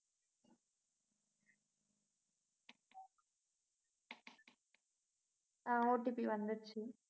அஹ் OTP வந்திடுச்சு